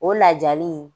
O lajali